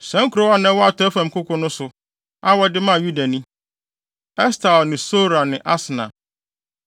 Saa nkurow a na ɛwɔ atɔe fam nkoko no so, a wɔde maa Yuda ni: Estaol ne Sora ne Asna.